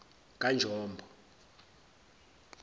kanjombo